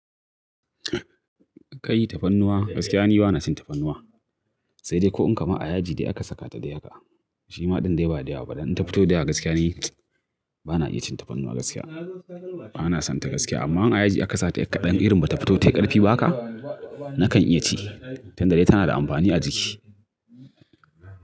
Kai tafarnuwa gaskiya ni bana cin tafarnuwa, sai dai ko in kama a yaji dai aka saka ta da haƙa shima ɗin dai ba da yawa ba. Don in tafito da yawa gaskiya ne bana iya cin tafarnuwa gaskiya. Bana son ta gaskiya amma in a yaji aka sa ta yar ƙaɗan irin ba tafito tai ƙarfi ba haka nakan iya ci, tun da dai tana da amfani a jiki.